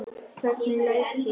Hvernig læt ég.